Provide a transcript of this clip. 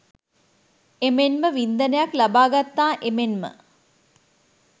එමෙන්ම වින්දනයක් ලබා ගත්තා එමෙන්ම